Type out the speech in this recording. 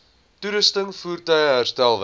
toerusting voertuie herstelwerk